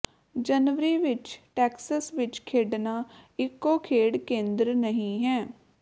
ਜਨਵਰੀ ਵਿਚ ਟੈਕਸਸ ਵਿਚ ਖੇਡਣਾ ਇਕੋ ਖੇਡ ਕੇਂਦਰ ਨਹੀਂ ਹੈ